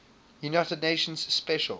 united nations special